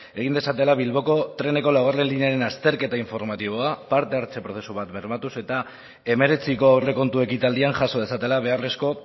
egin dezatela bilboko treneko laugarrena linearen azterketa informatiboa parte hartze prozesu bat bermatuz eta hemeretziko aurrekontu ekitaldian jaso dezatela beharrezko